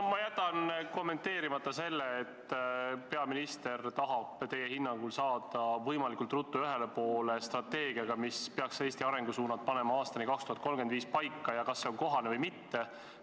No ma jätan kommenteerimata selle, et peaminister tahab teie hinnangul saada võimalikult ruttu ühele poole strateegiaga, mis peaks panema paika Eesti arengusuunad aastani 2035, ja selle, kas see on kohane või mitte.